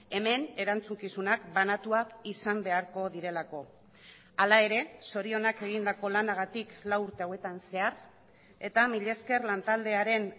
hemen erantzukizunak banatuak izan beharko direlako hala ere zorionak egindako lanagatik lau urte hauetan zehar eta mila esker lantaldearen